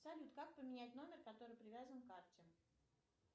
салют как поменять номер который привязан к карте